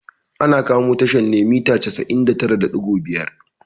Ana kamo tashar ne a mita casa'in da tara da ɗigo biyar